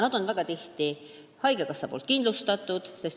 Nad on väga tihti haigekassa poolt kindlustatud.